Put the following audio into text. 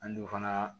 An don fana